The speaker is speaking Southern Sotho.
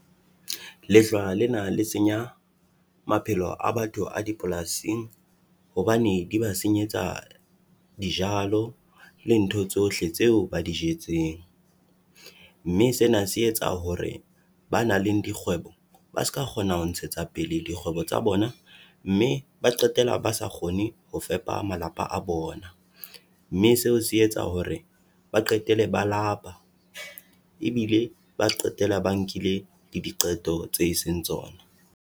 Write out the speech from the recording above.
Lehlwa lena la senya maphelo a batho a dipolasing, hobane di ba senyetsa dijalo le ntho tsohle tseo ba di jetseng. Mme sena se etsa hore ba nang le dikgwebo ba ska kgona ho ntshetsa pele dikgwebo tsa bona mme ba qetela ba sa kgone ho fepa malapa a a bona. Mme seo se etsa hore ba qetele ba lapa ebile ba qetela ba nkile le diqeto tse seng tsona.